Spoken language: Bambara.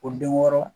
O den wɔɔrɔ